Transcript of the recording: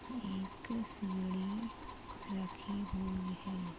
यहाँ पे शिवलिंग रखी हुई है।